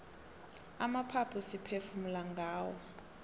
amaphaphu siphefumula ngawo